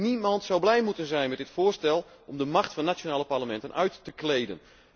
Niemand zou blij mogen zijn met dit voorstel om de macht van de nationale parlementen uit te kleden.